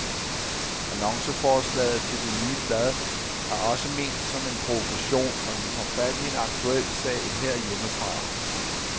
Annonceforslaget til det nye blad er også ment som en provokation, og den tager fat i en aktuel sag herhjemmefra.